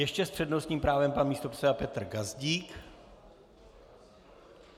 Ještě s přednostním právem pan místopředseda Petr Gazdík.